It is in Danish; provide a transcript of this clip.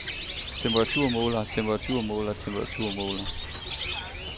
temperaturmåler temperaturmåler temperaturmåler